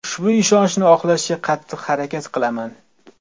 Ushbu ishonchni oqlashga qattiq harakat qilaman”.